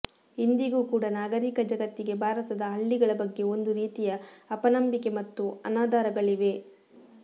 ಇಂದಿಗೂ ಕೂಡ ನಾಗರೀಕ ಜಗತ್ತಿಗೆ ಭಾರತದ ಹಳ್ಳಿಗಳ ಬಗ್ಗೆ ಒಂದು ರೀತಿಯ ಅಪನಂಬಿಕೆ ಮತ್ತು ಅನಾದರಗಳಿವೆ